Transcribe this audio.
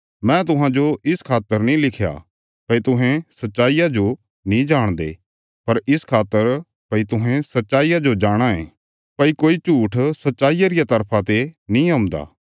मैं तुहांजो इस खातर नीं लिखया भई तुहें सच्चाईया जो नीं जाणदे पर इस खातर भई तुहें सच्चाईया जो जाणाँ ये भई कोई झूट्ठ सच्चाईया रिया तरफा ते नीं औंदा